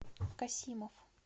касимов